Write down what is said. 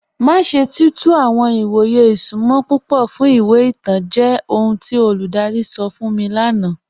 Má ṣè tí tú àwọn ìwọ̀yè ìṣúnmọ̀ púpọ̀ fún ìwé ìtàn jẹ́ ọhun tí olúdárí sọ̀ fún mi lána.